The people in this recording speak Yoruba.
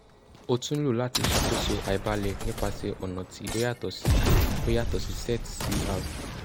o tun lo lati ṣakoso aibalẹ nipasẹ ọna ti o yatọ si o yatọ si xet cr